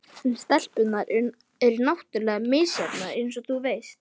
En stelpurnar eru náttúrlega misjafnar eins og þú veist.